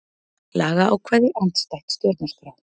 Lagaákvæði andstætt stjórnarskrá